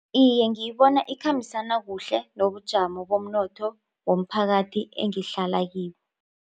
Iye ngiyibona ikhambisana kuhle nobujamo bomnotho womphakathi engihlala kiwo.